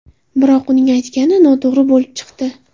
Biroq uning aytgani noto‘g‘ri bo‘lib chiqdi.